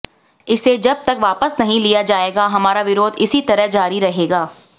इसे जब तक वापस नहीं लिया जाएगा हमारा विरोध इसी तरह जारी रहेगा